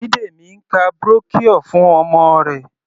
Bidemi ń ka brochure fún ọmọ rẹ̀.